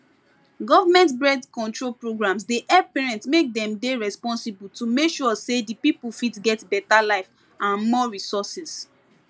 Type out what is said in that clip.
government birth control programs dey help parent make dem dey responsible to make sure say the people fit get better life and more resourses